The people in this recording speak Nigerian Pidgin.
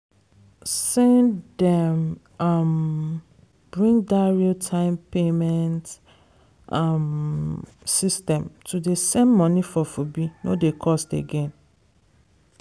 send dem um bring dat real time payment um system to dey send money for fobe no dey cost again